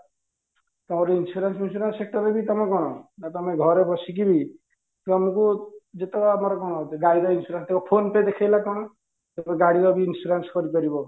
ତମର insurance insurance sector ରେ ବି ତମେ କଣ ନା ତମେ ଘରେ ବସି କିରି ତମକୁ ଯେତେବେଳେ ଆମର କଣ ଗାଡି ର insurance ଥିବ phone pay ଦେଖେଇଲା କଣ ଗାଡି ର ବି insurance କରି ପାରିବ